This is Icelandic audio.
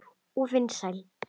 Og vinsæl.